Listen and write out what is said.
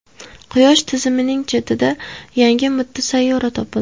Quyosh tizimining chetida yangi mitti sayyora topildi.